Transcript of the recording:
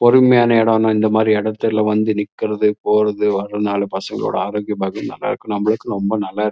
பொறுமையான இடம் னா இந்த மாரி இடத்துல வந்து நிக்குறது போறது வரனால பசங்கலோட ஆரோக்யம் பாக்கியம் நல்லாருக்கு நம்மளுக்கும் ரொம்ப நல்லாருக்கு.